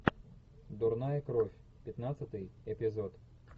дурная кровь пятнадцатый эпизод